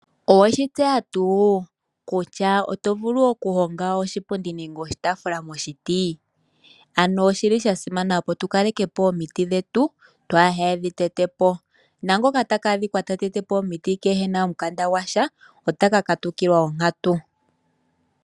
Oweshi tyeya tuu kutya oto vulu oku honga oshipundi nenge oshitaafula moshiti? Ano oshili sha simana opo tu kaleke po omiti dhetu twaadhi tetepo. Naangoka ta ka adhika ta tetepo omiti ye kena omukanda gwasha, ota ka katukilwa onkatu.